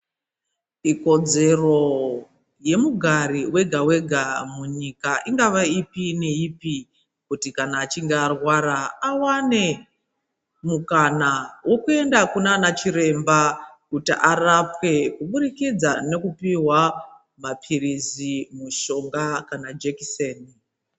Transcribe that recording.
Ikodzero ye mugari wega wega munyika ingava ipi ne ipi kuti kana achinge arwara awane mukana wekuenda kunana chiremba kuti arapwe kubudikidza neku pihwa mapirisi mushonga kana jekiseni.